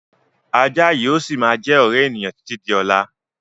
Ajá yìí ó síí má jẹ́ ọ̀rẹ́ ènìyàn títí di ọ̀la